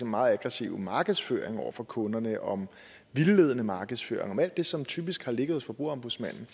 meget aggressive markedsføring over for kunderne om vildledende markedsføring om alt det som typisk har ligget hos forbrugerombudsmanden